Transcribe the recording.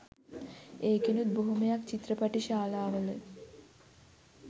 ඒකෙනුත් බොහොමයක් චිත්‍රපටිශාලාවල